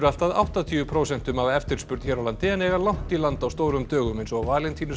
allt að áttatíu prósentum af eftirspurn hér á landi en eiga langt í land á stórum dögum eins og